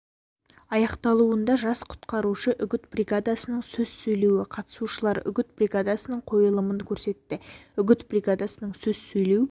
аяқталуында жас құтқарушы үгіт бригадасының сөз сөйлеуі қатысушылар үгіт бригадасының қойылымын көрсетті үгіт бригадасының сөз сөйлеу